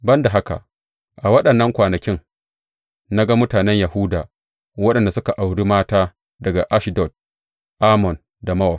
Ban da haka, a waɗannan kwanakin na ga mutanen Yahuda waɗanda suka auri mata daga Ashdod, Ammon da Mowab.